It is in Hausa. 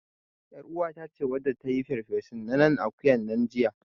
ƳarUwata ce wadda ta yi farfesun nanan akuyan nan jiya.